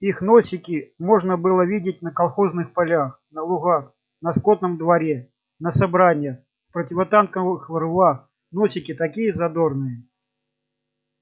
их носики можно было видеть на колхозных полях на лугах на скотном дворе на собраниях в противотанковых рвах носики такие задорные